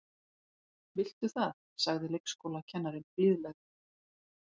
Viltu það sagði leikskólakennarinn blíðlega.